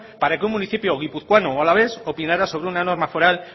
para que un municipio guipuzcoano o alavés opinara sobre una norma foral